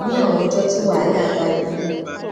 ní àwọn ọjó tí wàhálà bá dé